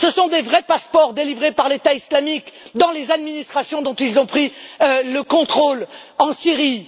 Ce sont de vrais passeports délivrés par l'État islamique dans les administrations dont ils ont pris le contrôle, en Syrie.